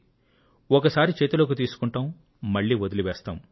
ఒకసారి చేతిలోకి తీసుకుంటాం మళ్లీ వదిలి వేస్తాం